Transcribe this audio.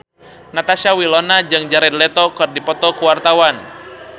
Natasha Wilona jeung Jared Leto keur dipoto ku wartawan